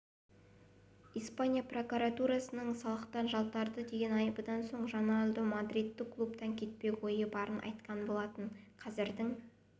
испания прокуратурасының салықтан жалтарды деген айыбынан соң роналду мадридтік клубтан кетпек ойы барын айтқан болатын қазірдің